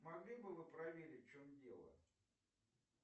могли бы вы проверить в чем дело